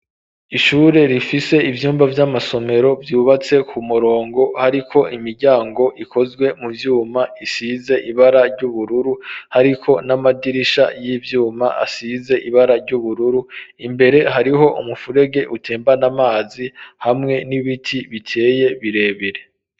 Ishure, rifise ivyumba vy'amasomero, vyubatse ku murongo; hariko imiryango, ikozwe mu vyuma, isize ibara ry'ubururu; hariko n'amadirisha, y'ivyuma, asize ibara ry'ubururu; imbere, hariho umufurege, utembana amazi, hamwe n'ibiti, biteye birebire.